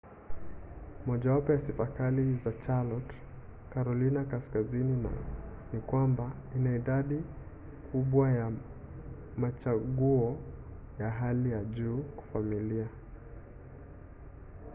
mojawapo ya sifa kali za charlotte carolina kaskazini ni kwamba ina idadi kubwa ya machaguo ya hali ya juu kwa familia